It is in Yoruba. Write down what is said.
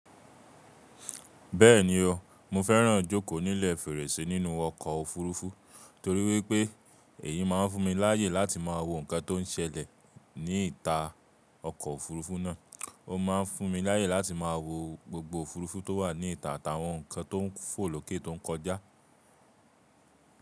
Bẹ́ẹ̀ni o, mo fẹ́ràn jókòó nílẹ̀ fèrèsé nínú ọkọ̀ òfuurufú torí wípé èyí máa ń fún mi láyè láti máa wo nǹkan tó ń ṣẹlẹ̀ ní ìta ọkọ̀ òfuurufú náà. Ó máa ń fún mi láyè láti máa wo gbogbo òfuurufú tó wà ní ìta àtàwọn nǹkan tó ń fò lókè tó ń kọjá.